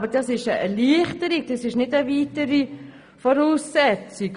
Aber das ist eine Erleichterung und nicht eine weitere Voraussetzung.